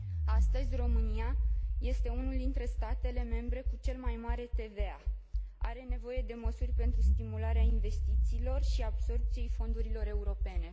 Astăzi, România este unul dintre statele membre cu cel mai mare TVA și are nevoie de măsuri pentru stimularea investițiilor și absorbției fondurilor europene.